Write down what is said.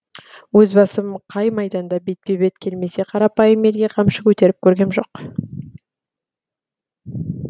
өз басым қан майданда бетпе бет келмесе қарапайым елге қамшы көтеріп көргем жоқ